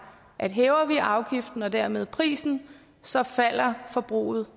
at hæver vi afgiften og dermed prisen så falder forbruget